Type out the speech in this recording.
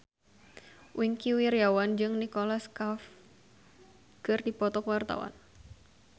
Wingky Wiryawan jeung Nicholas Cafe keur dipoto ku wartawan